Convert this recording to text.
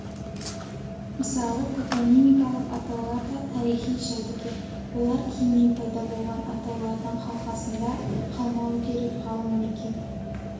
мысалы топонимикалық атаулар да тарихи жәдігер олар кейіннен пайда болған атаулардың қалқасында қалмауы керек ғалым мекен